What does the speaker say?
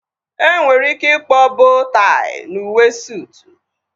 Enwere ike ịkpọọ boo tai n'uwe sootu